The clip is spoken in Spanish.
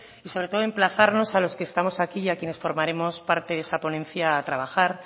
y sobre todo emplazarnos a los que estamos aquí y a quienes formaremos parte de esa ponencia a trabajar